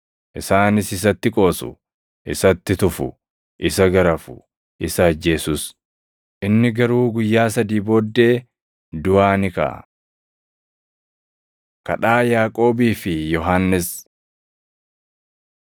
isaanis isatti qoosu; isatti tufu; isa garafu; isa ajjeesus. Inni garuu guyyaa sadii booddee duʼaa ni kaʼa.” Kadhaa Yaaqoobii fi Yohannis 10:35‑45 kwf – Mat 20:20‑28